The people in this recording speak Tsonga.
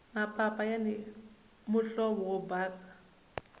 mapapa yani muhlovo wo basa